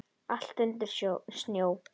Allt undir snjó.